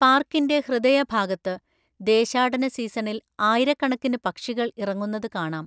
പാർക്കിന്റെ ഹൃദയഭാഗത്ത്, ദേശാടന സീസണിൽ ആയിരക്കണക്കിന് പക്ഷികൾ ഇറങ്ങുന്നത് കാണാം.